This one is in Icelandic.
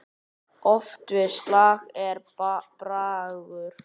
Oft við slag er bragur.